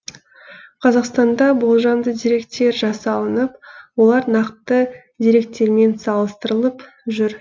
қазақстанда болжамды деректер жасалынып олар нақты деректермен салыстырылып жүр